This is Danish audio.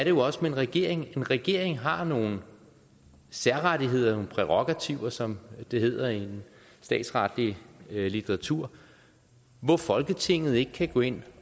jo også med en regering en regering har nogle særrettigheder nogle prærogativer som det hedder i statsretlig litteratur hvor folketinget ikke kan gå ind